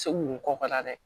Se mun kɔ ka taa dɛ